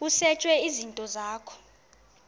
kusetshwe izinto zakho